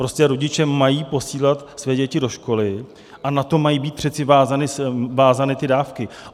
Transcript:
Prostě rodiče mají posílat své děti do školy a na to mají být přece vázány ty dávky.